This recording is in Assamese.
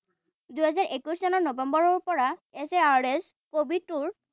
দুহেজাৰ একৈশ চনৰ নৱেম্বৰৰ পৰা S A R S covid টোৰ